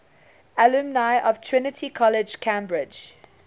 alumni of trinity college cambridge